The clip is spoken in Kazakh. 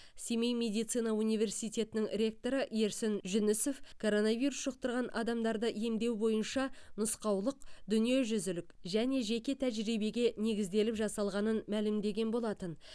семей медицина университетінің ректоры ерсін жүнісов коронавирус жұқтырған адамдарды емдеу бойынша нұсқаулық дүниежүзілік және жеке тәжірибеге негізделіп жасалғанын мәлімдеген болатын